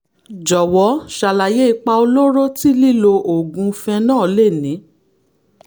jọ̀wọ́ ṣàlàyé ipa olóró tí lílo oògùn phenol lè ní